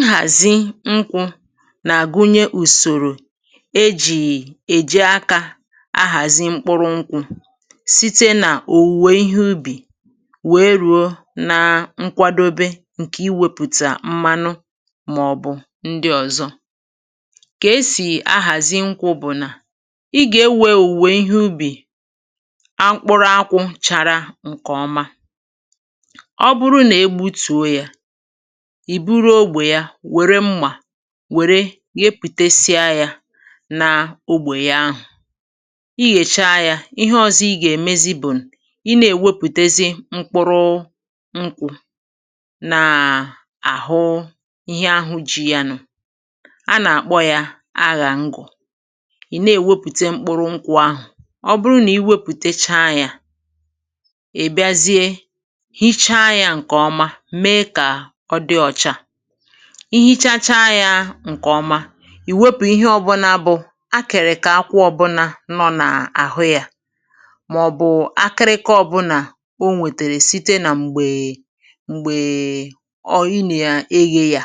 Nhàzi nkwụ nà-àgụnye ùsòrò e jì èji aka ahàzi mkpụrụ nkwụ̇, site nà òwùwè ihe ubì wèe rùo nà nkwadobe ǹkè iwėpụtà mmanụ màọbụ̀ ndị ọ̀zọ. Kà e sì ahàzi nkwụ bụ̀ nà ị gà-ewe òwùwè ihe ubì akpụrụ akwụ̇ chara ǹkè ọma. Ọ bụrụ na-egbutuo ya, i buru ogbè ya, wère mmà wère yepụtesịa yȧ na ogbè ya ahụ̀. Ị yèchaa yȧ, ihe ọ̀zọ ị gà-èmezi bụ̀ ịna-èwepụtesị mkpụrụ nkwụ̇ na àhụ ihe ahụ ji̇ yanụ̀. A nà-àkpọ ya ahàngụ̀, ì na-èwepụte mkpụrụ nkwụ̇ ahụ̀. Ọ bụrụ nà ị wepụtechaa yȧ, ị bịazie hichaa yȧ ǹkè ọma, mee ka ọ dị ọcha. I hichacha yȧ ǹkè ọma, ì wepụ ihe ọbụnȧ bụ̀ akịrịkà akwụọ ọbụna nọ n’àhụ yȧ màọ̀bụ̀ akịrịkọ ọbụnà o nwètèrè site nà m̀gbè m̀gbè um ị nà ya eyė yȧ.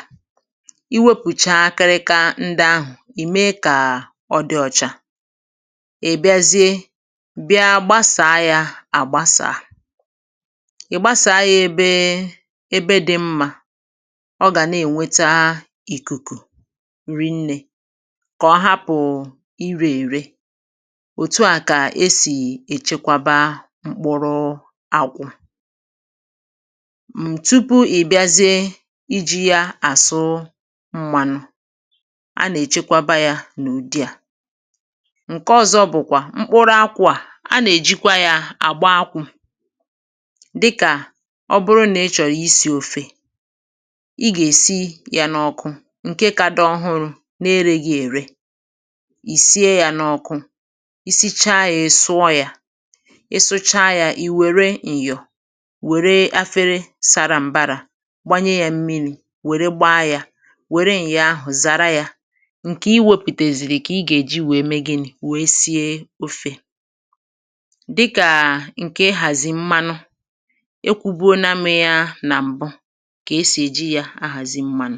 I wopụcha akịrịkọ ndị ahụ̀, ì mee kà ọ dị ọ̀chà, ị bịazie bịa gbasàa yȧ àgbasàa. Ị gbasaa ya ebe dị mma ọ gà na-ènweta ìkùkù rinnė kà ọ hapụ irė ère, òtu a kà esì èchekwaba mkpụrụ àkwụ m̀ tupu ị bịazie iji̇ ya àsụ m̀mànụ, a nà-èchekwaba yȧ n’ùdị à. Nke ọzọ bụ̀kwà, mkpụrụ akwụ̇ a, a nà-èjikwa yȧ àgba akwụ̇ dịkà ọ bụrụ nà ị chọ̀rọ̀ isi̇ ofė, ị gà-èsi yȧ n’ọkụ ǹke ka dọ ọhụrụ̇ n’eregị̇ ère, ì sie yȧ n’ọkụ. I sichaa yȧ, ịsụọ yȧ. Ị sụchaa yȧ, ì wère ǹyọ̀, wère afere sara m̀bara gbanye yȧ mmi̇ri wère gba yȧ, wère ǹyà ahụ̀ zara yȧ. Nkè i wėpụtèzìrì kà ị gà-èji wèe mee gịnị̇ wèe sie ofė. Dịkà ǹkè ị hàzì mmanụ, e kwubuona m ya nà m̀bụ kesi eji ya ahazi mmanụ.